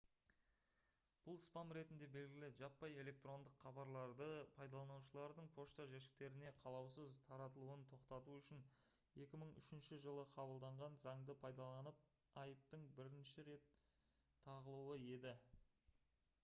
бұл «спам» ретінде белгілі жаппай электрондық хабарларды пайдаланушылардың пошта жәшіктеріне қалаусыз таратылуын тоқтату үшін 2003 жылы қабылданған заңды пайдаланып айыптың бірінші рет тағылуы еді